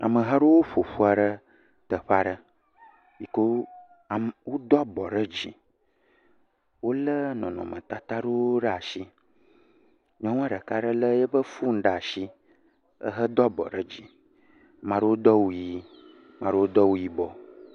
Ameha aɖe ƒo ƒu ɖe teƒe aɖe. Yi kea me, wodo abɔ ɖe dzi. Wolé nɔnɔmetata ɖewo ashi. Nyɔnua ɖeka ɖe lé eƒe fonu ɖe ashi ehe do abɔ ɖe dzi. Ma ɖewo do awu ʋii, maa ɖewo do awu yibɔ.